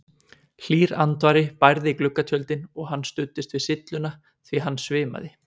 Hlýr andvari bærði gluggatjöldin og hann studdist við sylluna því hann svimaði.